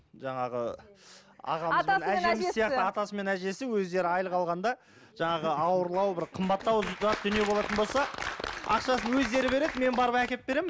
жаңағы атасы мен әжесі өздері айлық алғанда жаңағы ауырлау бір қымбаттау дүние болатын болса ақшасын өздері береді мен барып әкеліп беремін